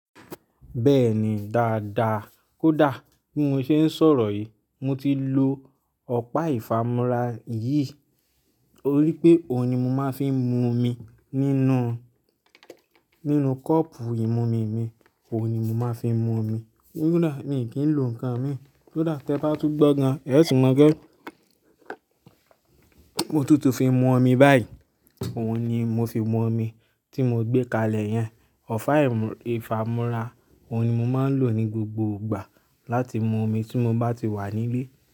Bẹ́ẹ̀ni, dáadáa kódà bí mo ṣe ń sọ̀rọ̀ yìí mo ti lo ọ̀pá ìfàmúrá yìí. To rí pé òhun ni mo máa fi ń mu omi nínú, nínú kọ́ọ̀pù ìmumi mi, òhun ni mo máa fi ń mu omi. Kódà mi ò kín lo ǹkan mi kódà tẹ́ bá tún gbọ́ gan ẹ tún mo gbọ́ mo tutù fi mu omi báyìí. Òun ni mo fi mu omi tí mo gbé kalẹ̀ yẹn. Ọ̀pá ìfàmúrá, òun ni mo máa ń lò ní gbogbo ìgbà láti mu omi tí mo bá ti wà nílé.